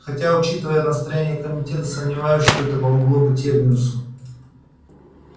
хотя учитывая настроения комитета сомневаюсь что это помогло бы терминусу